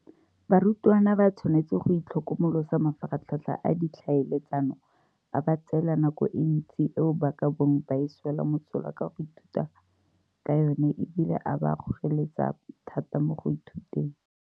Barutwana ba tshwanetse go itlhokomolosa mafaratlhatlha a ditlhaeletsano, a ba tseela nako e ntsi eo ba ka bong ba e swela mosola ka go ithuta ka yona e bile a ba kgoreletsa thata mo go ithuteng.